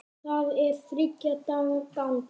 Það er þriggja daga ganga.